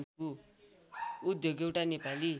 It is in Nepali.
उद्योग एउटा नेपाली